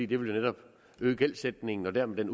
det vil jo netop øge gældsætningen og dermed